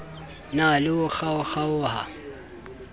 na le ho kgaokg aoha